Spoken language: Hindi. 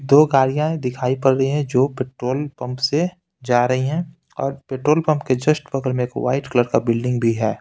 दो गाड़ियां दिखाई पड़ रही हैं जो पेट्रोल पंप से जा रही हैं और पेट्रोल पंप के जस्ट बगल में एक व्हाइट कलर का बिल्डिंग भी है।